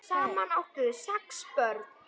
Saman áttu þau sex börn.